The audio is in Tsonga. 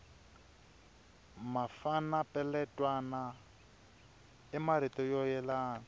mafana peletwana i marito yo yelana